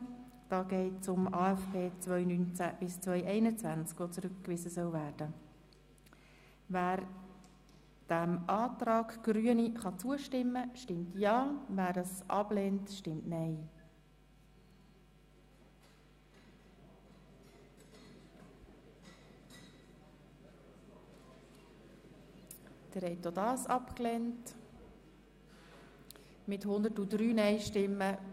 Der Regierungsrat wird ersucht, in den Jahren 2018 bis 2022 in geeigneter Weise über den Stand der Umsetzung der durch den Grossen Rat anlässlich der Novembersession 2017 beschlossenen Massnahmen des Entlastungspakets 2018 zu informieren.